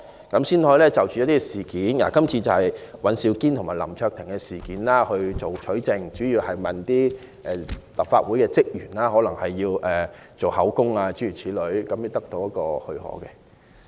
今次律政司要就尹兆堅議員及林卓廷議員一案取證，主要須向立法會職員錄取口供等，故要取得立法會的許可。